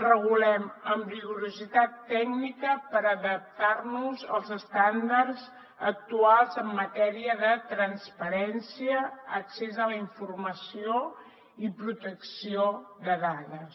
regulem amb rigorositat tècnica per adaptar nos als estàndards actuals en matèria de transparència accés a la informació i protecció de dades